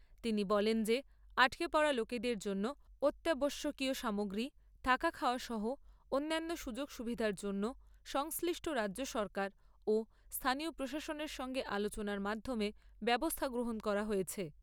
তিনি বলেন যে আটকে পড়া লোকেদের জন্য অত্যাবশ্যক সামগ্রী, থাকা খাওয়া সহ অন্যান্য সুযোগ সুবিধার জন্য সংশ্লিষ্ট রাজ্য সরকার ও স্থানীয় প্রশাসনের সঙ্গে আলোচনার মাধ্যমে ব্যবস্থা গ্রহণ করা হয়েছে।